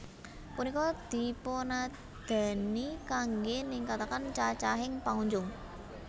Punika dipunadani kanggé ningkataken cacahing pangunjung